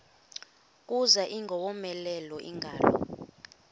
kuza ingowomeleleyo ingalo